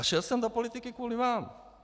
A šel jsem do politiky kvůli vám.